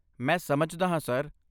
ਮੈਂ ਸਮਝਦਾ ਹਾਂ, ਸਰ।